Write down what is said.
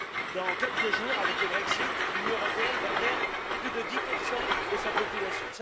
Dans quelques jours, avec le Brexit, l'Union européenne va perdre plus de 10 de sa population.